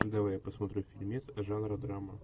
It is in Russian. давай я посмотрю фильмец жанра драма